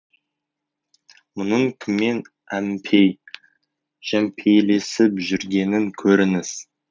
мұның кіммен әмпей жәмпейлесіп жүргенін көріңіз